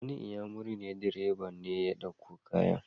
Wani inyamurin direba ne ya dauko kayan.